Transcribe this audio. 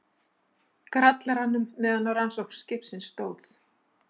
Grallaranum meðan á rannsókn biskups stóð.